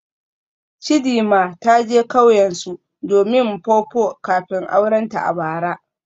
Chidima ta je kauyensu domin Mpopo kafin aurenta a bara.